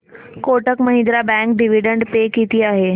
Kotak Mahindra bank dividend pay किती आहे